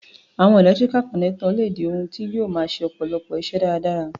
Àwon electrical connector le di oun ti yio ma se ọ̀pọ̀lọpọ̀ isẹ́ dáradára